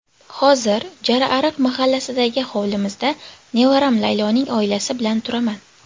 Hozir Jarariq mahallasidagi hovlimizda nevaram Layloning oilasi bilan turaman.